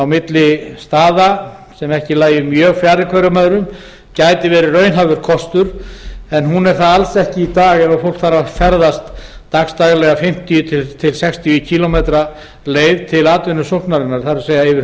milli staða sem ekki lægju mjög færri hverjum öðrum gætu verið raunhæfur kostur hún er það alls ekki í dag ef fólk þarf að ferðast dags daglega fimmtíu til sextíu kílómetra leið til atvinnusóknar það er yfir